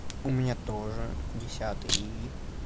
у меня тоже десятый и